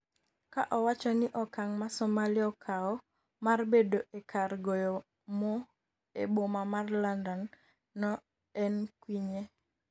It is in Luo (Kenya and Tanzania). ka owacho ni okang' ma Somalia okawo mar bedo e kar goyo mo e boma mar London no en kwinye